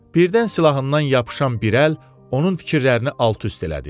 Birdən silahından yapışan bir əl onun fikirlərini alt-üst elədi.